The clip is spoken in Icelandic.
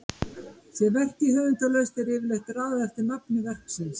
Sé verkið höfundarlaust er yfirleitt raðað eftir nafni verksins.